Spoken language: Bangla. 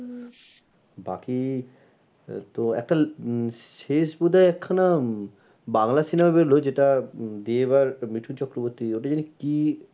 বাকি আহ তো একটা উম শেষ বোধ হয় একখানা উম বাংলা cinema বেরোলো যেটা উম দেব আর মিঠুন চক্রবর্তী ওটা যেন কি,